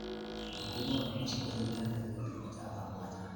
Wakulima wanapaswa kushirikiana katika kilimo cha pamoja.